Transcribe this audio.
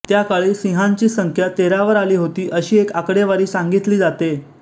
त्याकाळी सिंहांची संख्या तेरावर आली होती अशी एक आकडेवारी सांगितली जाते